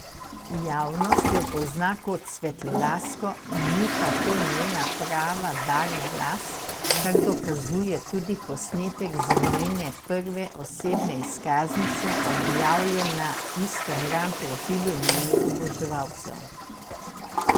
Javnost jo pozna kot svetlolasko, ni pa to njena prava barva las, kar dokazuje tudi posnetek z njene prve osebne izkaznice, objavljen na instagram profilu njenih oboževalcev.